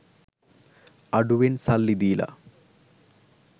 අඩුවෙන් සල්ලි දීල